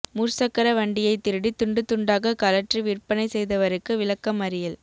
முற்சக்கர வண்டியை திருடி துண்டு துண்டாக கலற்றி விற்பனை செய்தவருக்கு விளக்கமறியல்